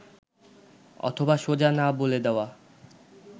অথবা সোজা না বলে দেওয়া